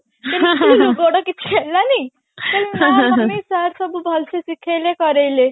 ଗୋଡ କିଛି ହେଲାନି ମୁଁ କହିଲି ନା mummy sir ସବୁ ଭଲସେ ଶିଖେଇଲେ କରେଇଲେ